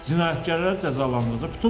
Cinayətkarlar cəzalandırılacaq.